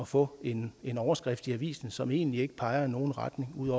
få en en overskrift i avisen som egentlig ikke peger i nogen retning ud